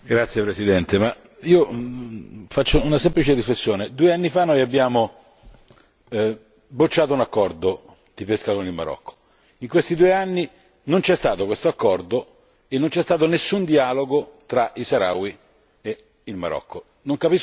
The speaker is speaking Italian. Signor Presidente, onorevoli colleghi, faccio una semplice riflessione due anni fa abbiamo bocciato un accordo di pesca con il Marocco. In questi due anni non c'è stato quest'accordo e non c'è stato nessun dialogo tra i saharawi e il Marocco.